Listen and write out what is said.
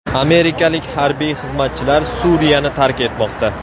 Amerikalik harbiy xizmatchilar Suriyani tark etmoqda.